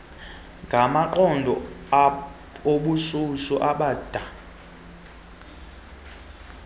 ngamaqondo obushushu abanda